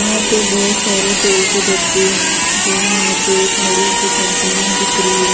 यहाँ पे बहुत सारे तेल के डब्बे हैं जो यहाँ पे एक बड़ी सी कंपनी दिख रही है।